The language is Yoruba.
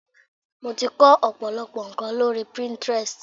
Mo ti kó ọ̀pọ̀lọpọ̀ ńko lórí Pinterest.